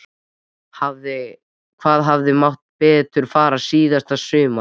Hvað hefði mátt betur fara síðasta sumar?